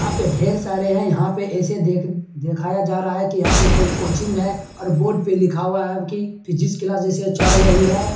यहाँ पे ढेर सारे हैं यहाँ पे ऐसे देख दिखाया जा रहा है की यहाँ पे कोई कोचिंग है और बोर्ड पे लिखा हुआ है की फिजिक्स क्लास जैसे चल रही है ।